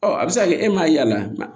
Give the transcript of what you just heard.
Ɔ a bɛ se ka kɛ e m'a yaala